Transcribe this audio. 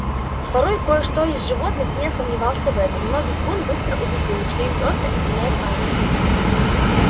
порой кое-что из животных не сомневался в этом но визгун быстро убедил их что им просто изменяет память